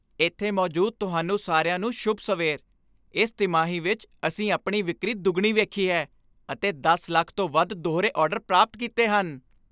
ਇੱਥੇ ਮੌਜੂਦ ਤੁਹਾਨੂੰ ਸਾਰਿਆਂ ਨੂੰ, ਸ਼ੁਭ ਸਵੇਰ ਇਸ ਤਿਮਾਹੀ ਵਿੱਚ ਅਸੀਂ ਆਪਣੀ ਵਿਕਰੀ ਦੁੱਗਣੀ ਵੇਖੀ ਹੈ ਅਤੇ ਦਸ ਲੱਖ ਤੋਂ ਵੱਧ ਦੂਹਰੇ ਆਰਡਰ ਪ੍ਰਾਪਤ ਕੀਤੇ ਹਨ